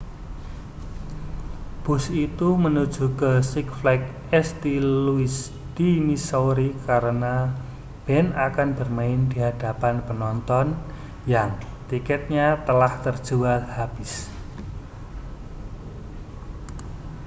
bus itu menuju ke six flags st louis di missouri karena band akan bermain di hadapan penonton yang tiketnya telah terjual habis